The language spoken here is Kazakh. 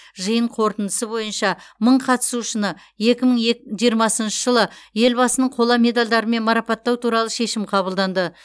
жиын қорытындысы бойынша мың қатысушыны екі мың ек жиырмасыншы жылы елбасының қола медалдарымен марапаттау туралы шешім қабылданды